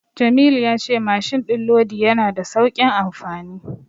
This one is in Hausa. Jamilu ya ce mashin din lodi yana da saukin amfani.